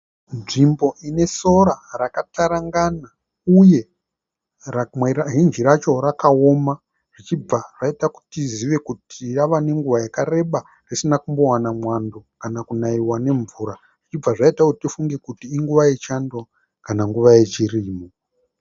Nzvimbo ine sora rakatarangana uye hinji racho rakaoma zvichibva zvaita kuti tizive kuti rava nenguva yakareba risina kuwana mwando kana kunaiwa nemvura zvichibva zvaita kuti tifunge kuti inguva yechando kana nguva yechirimo.